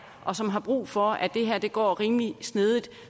og som har brug for at det her går rimelig smidigt